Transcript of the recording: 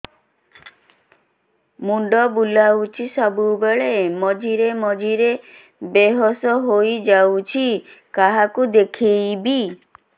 ମୁଣ୍ଡ ବୁଲାଉଛି ସବୁବେଳେ ମଝିରେ ମଝିରେ ବେହୋସ ହେଇ ପଡିଯାଉଛି କାହାକୁ ଦେଖେଇବି